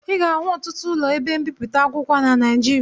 Ị ga-ahụ ọtụtụ ụlọ ebe mbipụta akwụkwọ na Naịjirịa